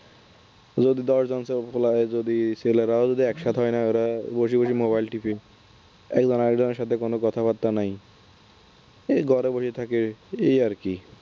যদি দশ জন বলা হয় যদি ছেলেরাও একসাথে হয় না। ওরা বসে বসে mobile টেপে। একসাথে হয় না একজন আরেকজনের সাথে কোন কথাবার্তা নাই এই ঘরে বসে থাকে এই আর কি